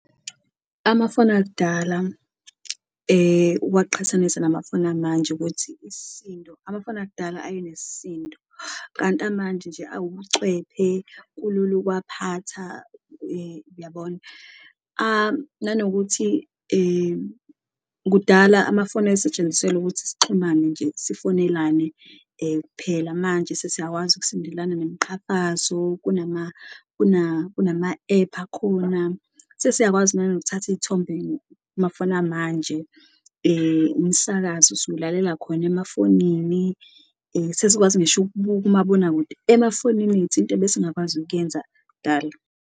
Amafoni akudala uwaqhathanise namafoni amanje ukuthi isisindo amafoni akudala ayenesisindo, kanti amanje nje awucwephe kulula ukuwaphatha, uyabona? Nanokuthi kudala amafoni ayesetshenziselwa ukuthi sixhumane nje, sifonelane kuphela manje sesiyakwazi ukusendelana nemqhafazo kunama-ephu akhona. Sesiyakwazi nanokuthatha iy'thombe mafoni amanje, umsakazo siwulalela khona emafonini, sesikwazi ngisho ukubuka umabonakude emafonini ethu, into ebesingakwazi ukuyenza kudala.